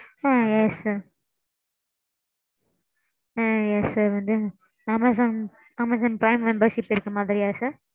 ஆ yes sir ஆ yes sir வந்து Amazon Amazon Prime membership இருக்குற மாதிரியா sir?